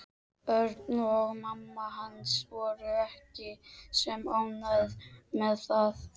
Örn og mamma hans voru ekki sem ánægðust með það.